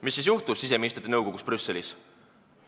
Mis siis juhtus siseministrite nõukogus Brüsselis?